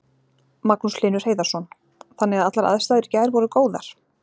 Magnús Hlynur Hreiðarsson: Þannig að allar aðstæður í gær voru góðar?